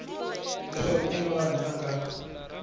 leswaku i mani a nga